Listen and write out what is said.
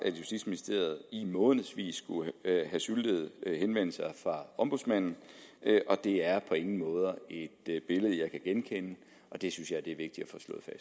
justitsministeriet i månedsvis skulle have syltet henvendelser fra ombudsmanden og det er på ingen måde et billede jeg kan genkende og det synes jeg er vigtigt